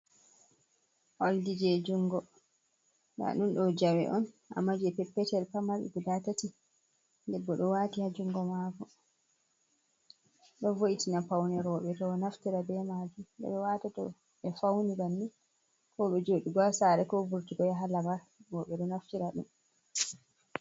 Olgi je jungo nda ɗum ɗo jawe on amma je peppetel pamar ɗi guda tati, debbo ɗo wati ha jungo mako, ɗon vo’itina paune roɓɓe to ɗo naftira be majum, den beɗo wata to ɓe fauni bannin ko be joɗugo sare, ko vurtugo ya ha lamar bo ɓe ɗo naftira ɗum.